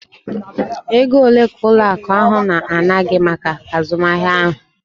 Ego ole ka ụlọ akụ ahụ na-ana gị maka azụmahịa ahụ?